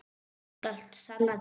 Þú skalt sanna til.